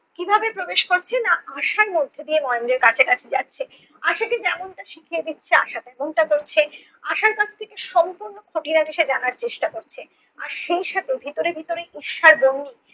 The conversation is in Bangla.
কীভাবে প্রবেশ করছে না আশার মধ্য দিয়ে মহেন্দ্রর কাছাকাছি যাচ্ছে, আশাকে যেমনটা শিখিয়ে দিচ্ছে আশা তেমনটা করছে, আশার কাছ থেকে সম্পূর্ণ খুঁটিনাটি সে জানার চেষ্টা করছে আর সেই সাথে ভেতরে ভেতরে ঈর্ষার বহ্নি